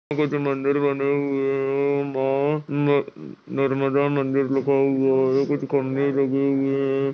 मंदिर बने हुए है मस्त न नर्मदा मंदिर लिखा हुआ है कुछ खम्बे लगे हुए हैं।